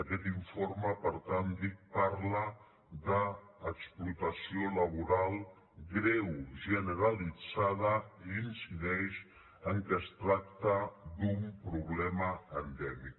aquest informe per tant dic parla d’explotació laboral greu generalitzada i incideix que es tracta d’un problema endèmic